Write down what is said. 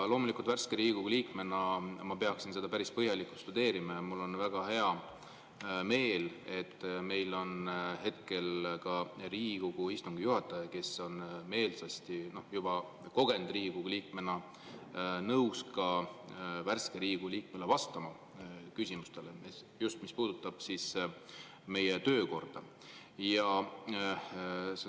Loomulikult ma värske Riigikogu liikmena peaksin seda päris põhjalikult tudeerima ja mul on väga hea meel, et meil on hetkel Riigikogu istungi juhataja, kes juba kogenud Riigikogu liikmena on meelsasti nõus vastama värske Riigikogu liikme küsimustele, just mis puudutab meie töökorda.